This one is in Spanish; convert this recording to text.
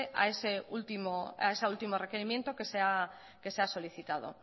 a ese último requerimiento que se ha solicitado